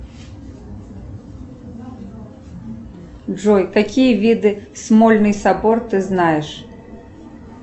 джой какие виды смольный собор ты знаешь